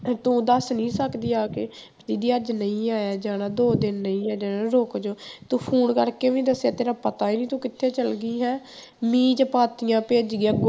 ਤੇ ਤੂੰ ਦੱਸ ਨੀ ਸਕਦੀ ਆ ਕੇ ਵੀ ਦੀਦੀ ਅੱਜ ਨਹੀਂ ਆਇਆ ਜਾਣਾ ਦੋ ਦਿਨ ਨਹੀਂ ਆਇਆ ਜਾਣਾ ਰੁੱਕ ਜਾਓ ਤੂੰ phone ਕਰਕੇ ਵੀ ਨੀ ਦੱਸਿਆ ਤੇਰਾ ਪਤਾ ਨੀ ਤੂੰ ਕਿੱਥੇ ਚਲੇ ਗਈ ਹੈਂ ਮੀਂਹ ਚ ਪਾਥੀਆਂ ਭਿੱਜ ਗਈਆਂ,